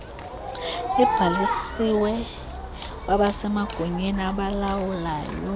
libhalisiwe kwabasemagunyeni abalawulayo